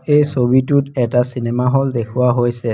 এই ছবিটোত এটা চিনেমা হল দেখুওৱা হৈছে।